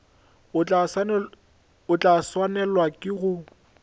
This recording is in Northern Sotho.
o tla swanelwa ke go